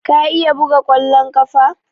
Ka iya buga ƙwallon ƙafa?